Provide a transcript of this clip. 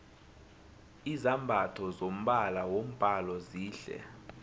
izambatho zombala wombhalo zihle